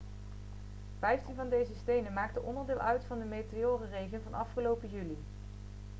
vijftien van deze stenen maakte onderdeel uit van de meteorenregen van afgelopen juli